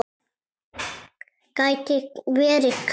Geti verið hver?